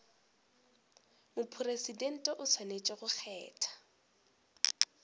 mopresidente o swanetše go kgetha